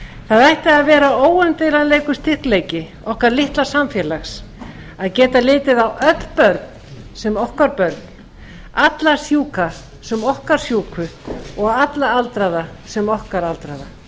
það ætti að vera óumdeilanlegur styrkleiki okkar litla samfélags að geta litið á öll börn sem okkar börn alla sjúka sem okkar sjúku og alla aldraða sem okkar aldraða ef